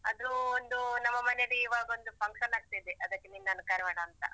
ಅದು ಒಂದು ನಮ್ಮ ಮನೇಲಿ ಇವಾಗ ಒಂದು function ಆಗ್ತಿದೆ. ಅದಕ್ಕೆ ನಿನ್ನನ್ನು ಕರಿಯೋಣ ಅಂತ.